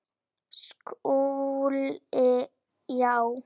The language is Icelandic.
SKÚLI: Já!